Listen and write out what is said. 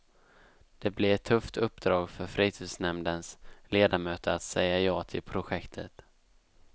Det blir ett tufft uppdrag för fritidsnämndens ledamöter att säga ja till projektet.